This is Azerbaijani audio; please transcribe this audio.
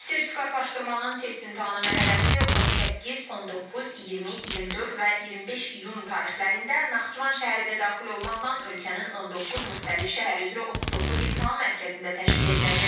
Sertifikatlaşdırmanın test imtahanı mərhələsi 18, 19, 20, 24 və 25 iyun tarixlərində Naxçıvan şəhəri də daxil olmaqla ölkənin 19 müxtəlif şəhər üzrə 39 imtahan mərkəzində təşkil ediləcək.